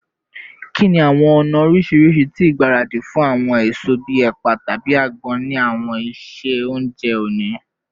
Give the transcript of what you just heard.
Kini awọn ọna oriṣiriṣi ti igbaradi fun awọn eso bii ẹpa tabi agbon ni awọn iṣe ounjẹ oni?